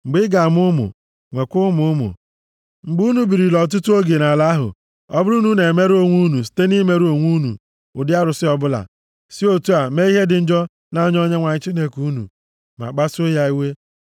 Mgbe ị ga-amụ ụmụ, nwekwa ụmụ ụmụ, mgbe unu birila ọtụtụ oge nʼala ahụ, ọ bụrụ na unu emerụọ onwe unu site nʼimere onwe unu ụdị arụsị ọbụla, si otu a mee ihe dị njọ nʼanya Onyenwe anyị Chineke unu, ma kpasuo ya iwe